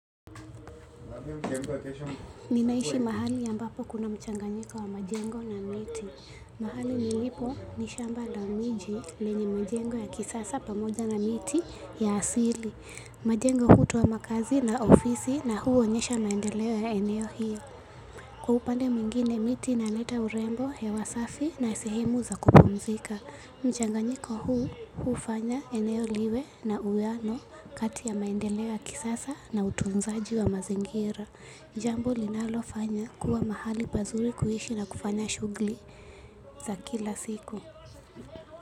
Ninaishi mahali ya ambapo kuna mchanganyika wa majengo na miti. Mahali nilipo ni shamba la miji lenye majengo ya kisasa pamoja na miti ya asili. Majengo kutu ama kazi na ofisi na huonyesha maendeleo ya eneo hiyo. Kwa upande mwingine miti inaleta urembo hewa safi na sehemu za kupumzika. Mchanganyiko huu hufanya eneo liwe na uwiano kati ya maendeleo ya kisasa na utunzaji wa mazingira. Jambo linalofanya kuwa mahali pazuri kuishi na kufanya shughuli za kila siku.